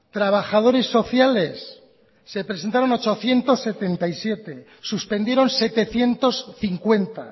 trabajadores sociales se presentaron ochocientos setenta y siete suspendieron setecientos cincuenta